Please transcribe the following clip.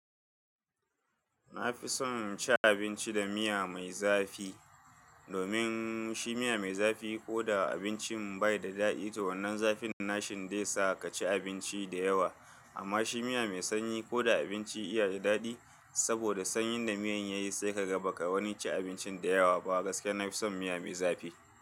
Na fi son ci abinci da miya mai zafi. Domin shi miya mai zafi ko da abincin bai da daɗi to wannan zafin na shinde sa ka ci abinci da yawa. Amma shi miya mai sanyi ko da abinci ya da daɗi saboda sanyin da miyan yayi sai ka ga baka wani ci abincin da yawa ba. Gaskiya na fi son miya mai zafi.